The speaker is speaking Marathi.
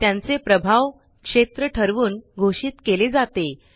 त्यांचे प्रभाव क्षेत्र ठरवून घोषित केले जाते